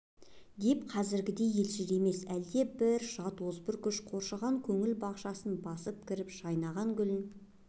деп қазіргідей елжіремес әлде бір жат озбыр күш қорғаштаған көңіл бақшасына басып кіріп жайнаған гүлін